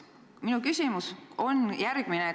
Minu küsimus on järgmine.